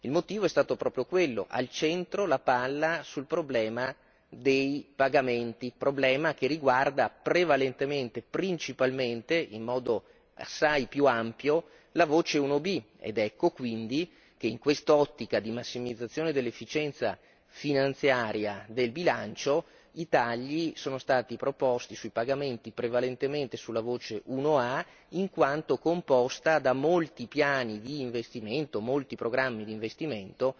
Il motivo è stato proprio quello, al centro la palla sul problema dei pagamenti, problema che riguarda prevalentemente, principalmente, in modo assai più ampio la voce 1B ed ecco quindi che in quest'ottica di massimizzazione dell'efficienza finanziaria del bilancio, i tagli sono stati proposti sui pagamenti prevalentemente sulla voce 1A in quanto composta da molti piani di investimento, molti programmi di investimento,